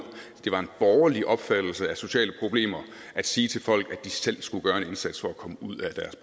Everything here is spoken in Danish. det var en borgerlig opfattelse af sociale problemer at sige til folk at de selv skulle gøre en indsats for at komme